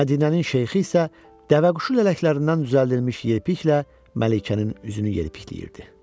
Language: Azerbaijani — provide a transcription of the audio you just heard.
Mədinənin şeyxi isə dəvəquşu lələklərindən düzəldilmiş yelpiklə Məlikənin üzünü yelpikləyirdi.